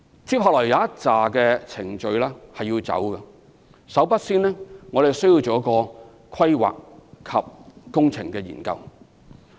接下來需要進行一些程序，首先我們需要進行規劃及工程研究。